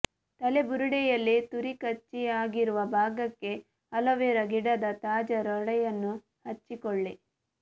ತಲೆಬುರುಡೆಯಲ್ಲಿ ತುರಿಕಚ್ಚಿ ಆಗಿರುವ ಭಾಗಕ್ಕೆ ಅಲೋವೆರಾ ಗಿಡದ ತಾಜಾ ಲೋಳೆಯನ್ನು ಹಚ್ಚಿಕೊಳ್ಳಿ